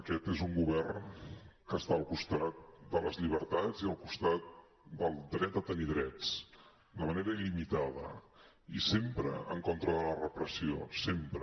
aquest és un govern que està al costat de les llibertats i al costat del dret a tenir drets de manera il·limitada i sempre en contra de la repressió sempre